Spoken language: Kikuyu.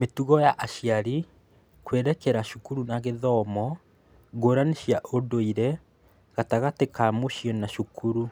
Mĩtugo ya aciari kwerekera cukuru na gĩthomo, ngũrani cia ũndũire gatagatĩ ka mũciĩ na cukuru.